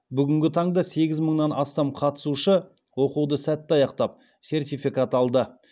бүгінгі таңда сегіз мыңнан астам қатысушы оқуды сәтті аяқтап сертификат алды